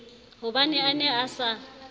hobane a ne a sa